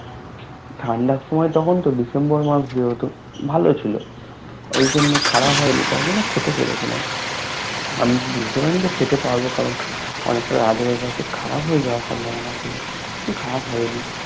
ঠান্ডার সময় তখন তো December মাস যেহেতু ভালো ছিল ঐজন্য খারাপ হয়নি তাইজন্য খেতে পেয়েছি আমি বুঝতে পারিনি যে খেতে পারবো কারণ অনেকটা রাত হয়ে গেছে খারাপ হয়ে যাওয়ার সম্ভবনা ছিল খারাপ হয়নি